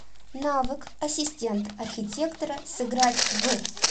навык ассистент архитектора сыграть в